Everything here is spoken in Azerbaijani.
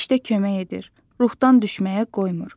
Hər işdə kömək edir, ruhdan düşməyə qoymur.